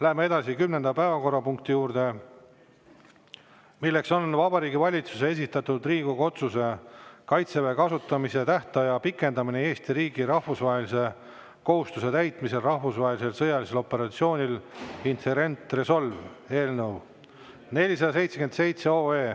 Läheme edasi kümnenda päevakorrapunkti juurde, milleks on Vabariigi Valitsuse esitatud Riigikogu otsuse "Kaitseväe kasutamise tähtaja pikendamine Eesti riigi rahvusvaheliste kohustuste täitmisel rahvusvahelisel sõjalisel operatsioonil Inherent Resolve" eelnõu 477.